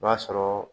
I b'a sɔrɔ